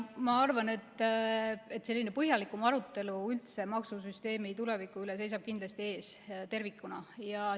Ma arvan, et põhjalikum arutelu maksusüsteemi tuleviku üle seisab tervikuna ees.